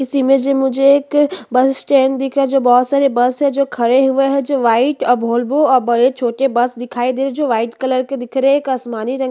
इस इमेज में मुझे एक बस स्टैंड दिख रहा है जो बहुत सारे बस है जो खड़े हुए है जो व्हाइट अब वॉल्वो और बड़े छोटे बस दिखाई दे रहे जो व्हाइट कलर के दिख रहे एक आसमानी रंग की--